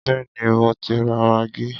Béèni mo ti ra maggi.